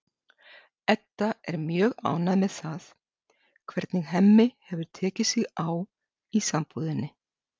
Edda er mjög ánægð með það hvernig Hemmi hefur tekið sig á í sambúðinni.